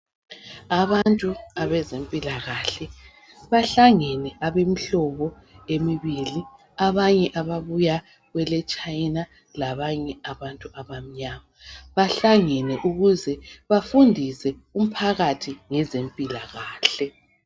Abantu abezempilakahle bahlangene abemihlobo emibili. Abanye ababuya kweleChina labanye abantu abamnyama. Bahlangene ukuze bafundise umphakathi ngezempilakahle.